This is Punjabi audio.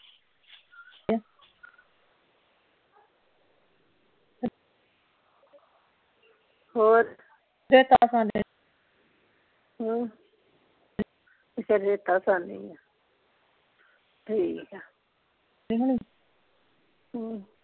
ਹੋਰ ਰੇਤਾ ਛਾਣਿਆ ਸੀ ਹਮ ਅੱਛਾ ਰੇਤਾ ਛਾਣਨੀ ਸੀ ਠੀਕ ਆ